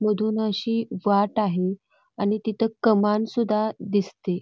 मधून अशी वाट आहे आणि तिथ कमान सुद्धा दिसते.